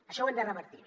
això ho hem de revertir